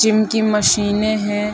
Gym की मशीने हैं।